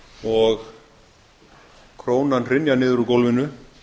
og krónan hrynja niður úr gólfinu